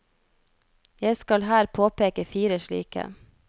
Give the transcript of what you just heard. Jeg skal her påpeke fire slike.